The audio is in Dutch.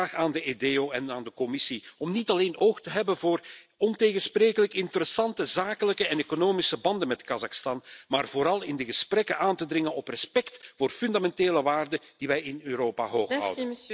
Ik vraag aan de EDEO en aan de Commissie om niet alleen oog te hebben voor ontegensprekelijk interessante zakelijke en economische banden met Kazachstan, maar vooral in de gesprekken aan te dringen op respect voor fundamentele waarden die wij in Europa hooghouden.